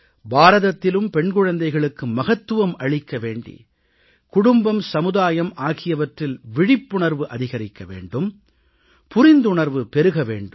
பாரதத்திலும் பெண் குழந்தைகளுக்கு மகத்துவம் அளிக்க வேண்டி குடும்பம் சமுதாயம் ஆகியவற்றில் விழிப்புணர்வு அதிகரிக்க வேண்டும் புரிந்துணர்வு பெருக வேண்டும்